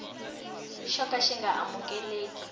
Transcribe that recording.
xo ka xi nga amukeleki